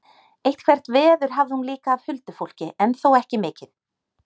Eitthvert veður hafði hún líka af huldufólki en þó ekki mikið.